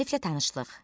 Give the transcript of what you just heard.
Müəlliflə tanışlıq.